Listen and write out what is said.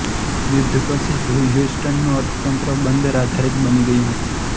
યુદ્ધ પછી હ્યુસ્ટનનું અર્થતંત્ર બંદર આધારિત બની ગયું હતું